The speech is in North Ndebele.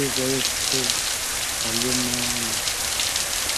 eziyabe zithe zalimala.